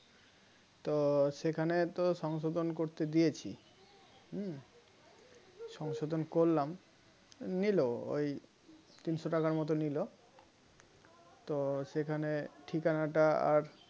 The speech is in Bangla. তো সেখানে তো সংশোধন করতে দিয়েছি হম সংশোধন করলাম নিল ওই তিনশো টাকার মতো নিলো তো সেখানে ঠিকানাটা আর